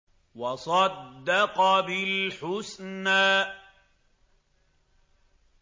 وَصَدَّقَ بِالْحُسْنَىٰ